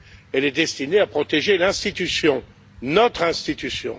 Elle est destinée à protéger l'institution, notre institution.